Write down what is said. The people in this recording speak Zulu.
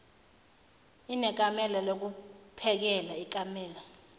inekamela lokuphekela ikamela